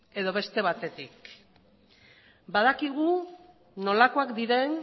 edo beste batetik badakigu nolakoak diren